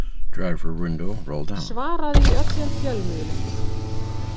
Svaraði í öllum fjölmiðlum